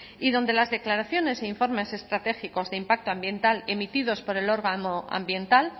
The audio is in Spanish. y donde las declaraciones e informes estratégicos de impacto ambiental emitidos por el órgano ambiental